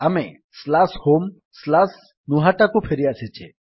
ଆମେ homegnuhataକୁ ଫେରିଆସିଛେ